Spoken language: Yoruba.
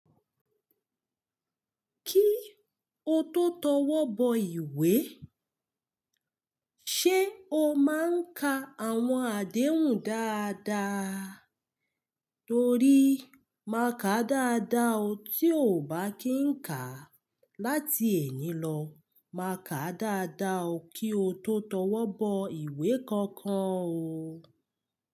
Kí o tó tọwọ́ bọ ìwé, ṣé o máa ń ka àwọn àdéhùn dáadáa? Torí má ka dáadáa o, tí o ò bá kí ń kà á. Láti ẹ́ní lọ má ka dáadáa o kí o tó tọwọ́ bọ ìwé kankan o.